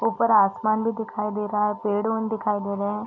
ऊपर आसमान भी दिखाई दे रहा है दिखाई दे रहे हैं।